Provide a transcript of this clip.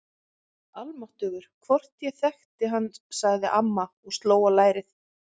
Almáttugur, hvort ég þekkti hann sagði amma og sló á lærið.